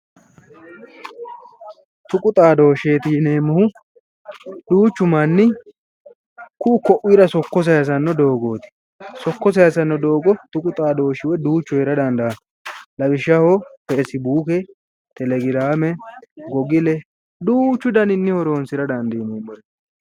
Tuqu xaadoosheeti yineemmohu duuchu manni ku'u ku'uyira sokko sayisanno doogooti sokko sayisanno doogo tuqu xaadooshi woyi duuchu heera dandaanno lawishaho fasibuuke telegiraame gogile duuchu daninni horoonsira dandiineemmoreeti